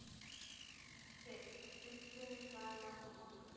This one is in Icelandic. Krydd: Uppruni, saga og notkun.